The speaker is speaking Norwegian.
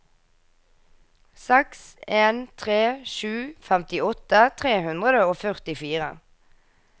seks en tre sju femtiåtte tre hundre og førtifire